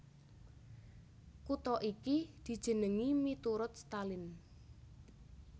Kutha iki dijenengi miturut Stalin